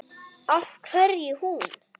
Af hverju hún?